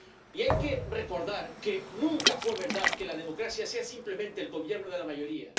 Y hay que recordar que nunca fue verdad que la democracia sea simplemente el gobierno de la mayoría.